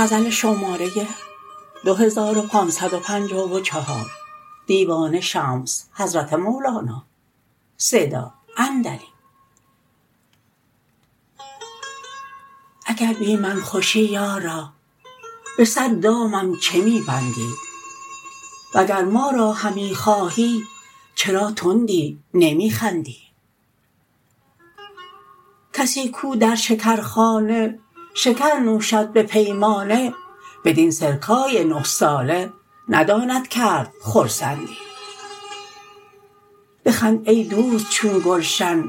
اگر بی من خوشی یارا به صد دامم چه می بندی وگر ما را همی خواهی چرا تندی نمی خندی کسی کو در شکرخانه شکر نوشد به پیمانه بدین سرکای نه ساله نداند کرد خرسندی بخند ای دوست چون گلشن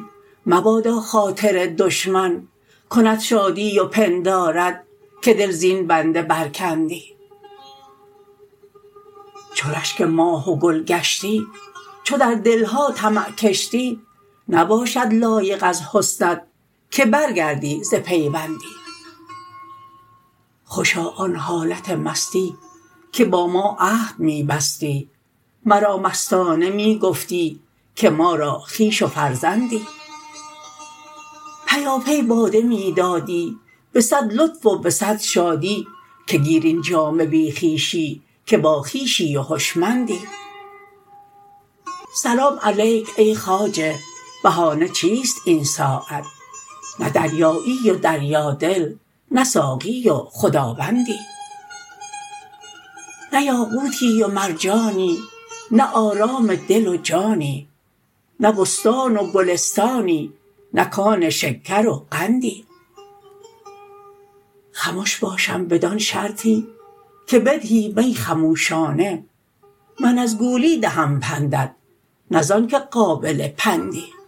مبادا خاطر دشمن کند شادی و پندارد که دل زین بنده برکندی چو رشک ماه و گل گشتی چو در دل ها طمع کشتی نباشد لایق از حسنت که برگردی ز پیوندی خوشا آن حالت مستی که با ما عهد می بستی مرا مستانه می گفتی که ما را خویش و فرزندی پیاپی باده می دادی به صد لطف و به صد شادی که گیر این جام بی خویشی که باخویشی و هشمندی سلام علیک ای خواجه بهانه چیست این ساعت نه دریایی و دریادل نه ساقی و خداوندی نه یاقوتی نه مرجانی نه آرام دل و جانی نه بستان و گلستانی نه کان شکر و قندی خمش باشم بدان شرطی که بدهی می خموشانه من از گولی دهم پندت نه ز آنک قابل پندی